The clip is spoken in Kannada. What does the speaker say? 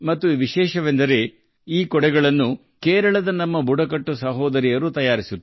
ವಿಶೇಷವೆಂದರೆ ಈ ಕೊಡೆಗಳನ್ನು ನಮ್ಮ ಕೇರಳದ ಬುಡಕಟ್ಟು ಸಹೋದರಿಯರು ತಯಾರಿಸುತ್ತಾರೆ